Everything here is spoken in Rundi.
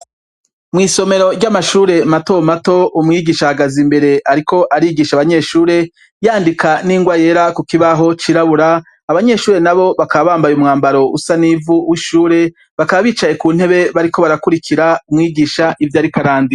Mw'isomero ry'amashure mato mato umwigisha ahagaze imbere ariko arigisha abanyeshure, yandika n'ingwa yera ku kibaho cirabura, abanyeshure nabo bakaba bambaye umwambaro usa n'ivu w'ishure bakaba bicaye ku ntebe bariko barakurikira umwigisha ivyo ariko arandika.